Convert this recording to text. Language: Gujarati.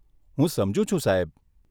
હું સમજુ છું, સાહેબ.